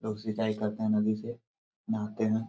लोग सिंचाई करते है नदी से नहाते है।